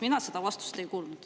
Mina seda vastust ei kuulnud.